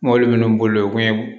Mɔbili minnu bolilen do